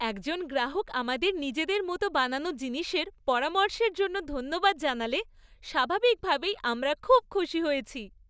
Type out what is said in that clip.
একজন গ্রাহক আমাদের নিজের মতো বানানো জিনিসের পরামর্শের জন্য ধন্যবাদ জানালে স্বাভাবিকভাবেই আমরা খুব খুশি হয়েছি।